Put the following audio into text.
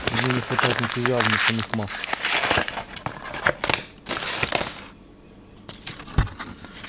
в ней не хватает энтузиазма самих масс